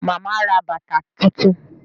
Màmá ra bàtà tuntun